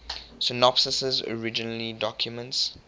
synopses originally documents